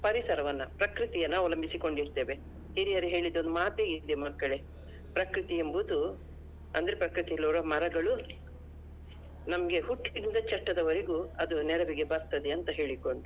ಪರಿಸರವನ್ನ ಪ್ರಕೃತಿಯನ್ನಾ ಅವಲಂಬಿಸಿ ಕೊಂಡಿರ್ತೇವೆ. ಹಿರಿಯರು ಹೇಳಿದ ಒಂದ್ ಮಾತೇ ಇದೆ ಮಕ್ಕಳೇ ಪ್ರಕೃತಿ ಎಂಬುದು ಅಂದ್ರೆ ಪ್ರಕೃತಿಯಲ್ಲಿರೋ ಮರಗಳು ನಮಗೆ ಹುಟ್ಟಿನಿಂದ ಚಟ್ಟದವರೆಗೂ ಅದು ನೆರವಿಗೆ ಬರ್ತದೆ ಅಂತ ಹೇಳಿಕೊಂಡು.